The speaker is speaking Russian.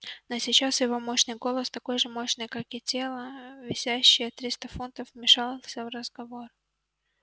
но сейчас его мощный голос такой же мощный как и тело весящее триста фунтов вмешался в разговор